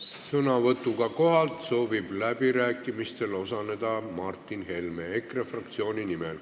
Sõnavõtuga kohalt soovib läbirääkimistel osaleda Martin Helme EKRE fraktsiooni nimel.